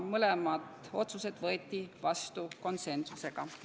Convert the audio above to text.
Mõlemad otsused võeti vastu konsensuslikult.